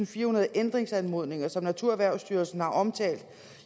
firehundrede ændringsanmodninger som naturerhvervstyrelsen har omtalt